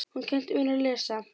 Hún kenndi mér að lesa.